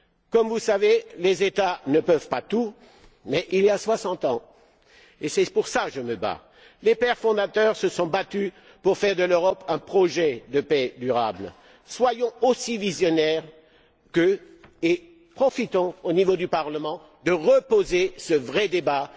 Comme vous le savez, les États ne peuvent pas tout mais, il y a soixante ans et c'est pour cela que je me bats les pères fondateurs se sont battus pour faire de l'Europe un projet de paix durable. Soyons aussi visionnaires qu'eux et n'hésitons pas, au niveau du Parlement, à relancer ce vrai débat.